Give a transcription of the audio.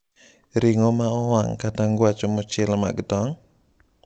Ring’o ma owang’ kata ngwacho mochiel mag tong’?